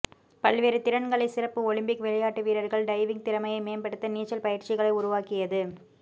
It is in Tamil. பல்வேறு திறன்களை சிறப்பு ஒலிம்பிக் விளையாட்டு வீரர்கள் டைவிங் திறமையை மேம்படுத்த நீச்சல் பயிற்சிகளை உருவாக்கியது